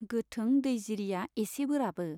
गोथों दैजिरिया एसे बोराबो।